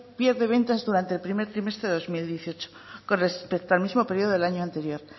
pierde ventas durante el primer trimestre de dos mil dieciocho con respecto al mismo periodo del año anterior